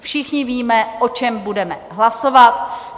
Všichni víme, o čem budeme hlasovat.